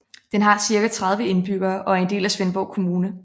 Den har cirka 30 indbyggere og er en del af Svendborg Kommune